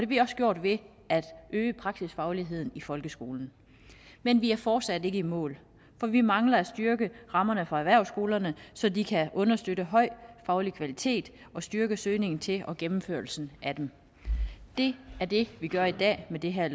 vi også gjort ved at øge praksisfagligheden i folkeskolen men vi er fortsat ikke i mål for vi mangler at styrke rammerne for erhvervsskolerne så de kan understøtte en høj faglig kvalitet og styrke søgningen til og gennemførelsen af dem det er det vi gør i dag med det her